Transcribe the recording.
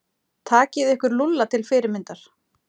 Takið ykkur Lúlla til fyrirmyndar.